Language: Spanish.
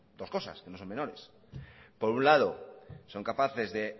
dos cosas que no son menores por un lado son capaces de